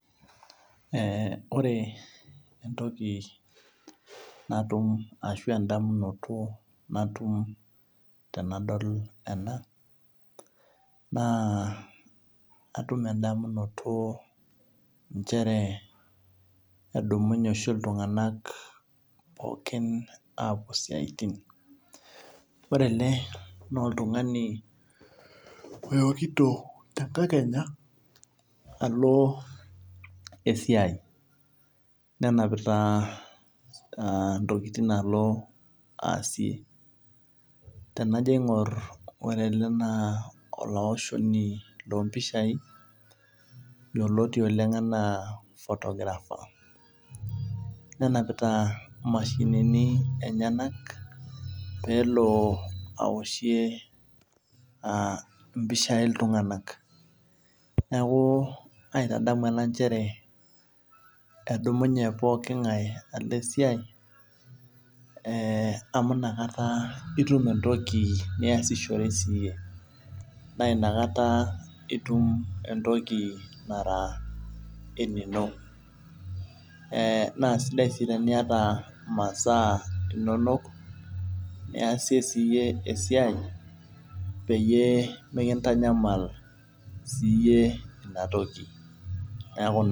Ee ore entoki natum ashu endamunoto natum tanadol ena na atum endamunoto nchere edumunye oshi ltunganak pooki apuo siatin ore ele na oltungani oekito tenkakenya alo esiai nenapita ntokitin alo aasie tenajo aingor ore ele na olaoshoni lompishai yioloti ana photographer nenapita mashinini enyenak pelo aoshie mpishai ltunganak neaku aitadamu ena nchere edumunye pooki ngae alo esiai amu inakata itum entoki niasishore iyie na inakata itum entoki nara eninno na sidai si teniata masaa inonok neasie esiai peyie mikintanyamal siyie inatoki neaku naa.